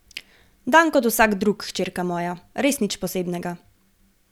Dan kot vsak drug, hčerka moja, res nič posebnega.